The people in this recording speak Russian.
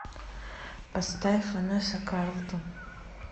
поставь ванесса карлтон